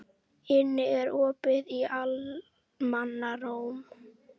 Inna, er opið í Almannaróm?